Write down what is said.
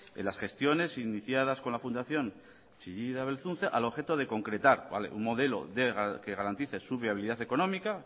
en las gestiones iniciadas con la fundación chillida belzunze al objeto de concretar un modelo que garantice su viabilidad económica